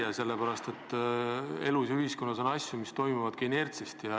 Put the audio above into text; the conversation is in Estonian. Seda sellepärast, et elus ja ühiskonnas on asju, mis toimuvad inertsist.